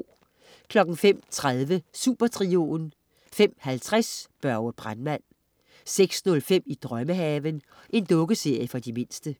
05.30 Supertrioen 05.50 Børge brandmand 06.05 I drømmehaven. Dukkeserie for de mindste